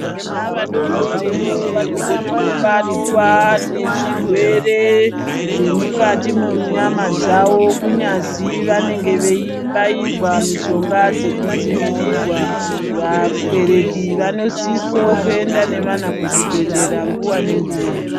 Vana vadodoriwo vanogona kubatwa nezvirwere zvemukati mwenyama dzawo kunyazi vanenge veibairwa mishonga dzokudaivirirwa vabereki vanosiso kuenda nevana kuzvibhedhlera nguwa nenguwa.